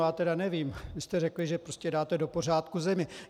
Já tedy nevím - vy jste řekli, že prostě dáte do pořádku zemi!